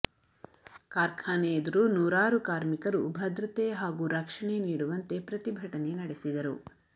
ಕಾರ್ಖಾನೆ ಎದುರು ನೂರಾರು ಕಾರ್ಮಿಕರು ಭದ್ರತೆ ಹಾಗೂ ರಕ್ಷಣೆ ನೀಡುವಂತೆ ಪ್ರತಿಭಟನೆ ನಡೆಸಿದರು